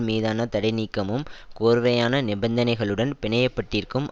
மீதான தடை நீக்கமும் கோர்வையான நிபந்தனைகளுடன் பிணையப்பட்டிருக்கும்